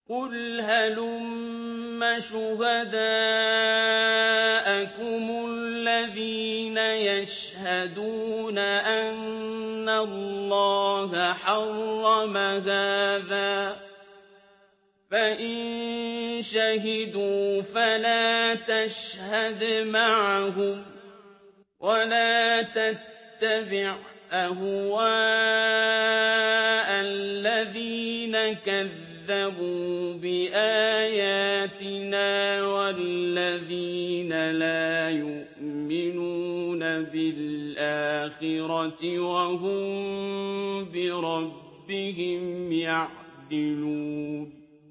قُلْ هَلُمَّ شُهَدَاءَكُمُ الَّذِينَ يَشْهَدُونَ أَنَّ اللَّهَ حَرَّمَ هَٰذَا ۖ فَإِن شَهِدُوا فَلَا تَشْهَدْ مَعَهُمْ ۚ وَلَا تَتَّبِعْ أَهْوَاءَ الَّذِينَ كَذَّبُوا بِآيَاتِنَا وَالَّذِينَ لَا يُؤْمِنُونَ بِالْآخِرَةِ وَهُم بِرَبِّهِمْ يَعْدِلُونَ